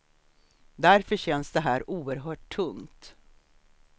Därför känns det här oerhört tungt.